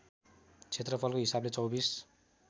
क्षेत्रफलको हिसाबले २४